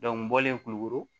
n bɔlen kulukoro